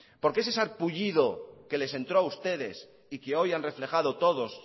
por qué ese sarpullido que les entró a ustedes y que hoy han reflejado todos